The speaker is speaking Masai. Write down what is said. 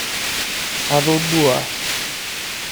Atoduaa.